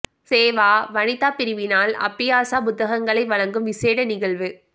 சேவா வனிதா பிரிவினால் அப்பியாச புத்தகங்களை வழங்கும் விஷேட நிகழ்வு